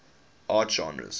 art genres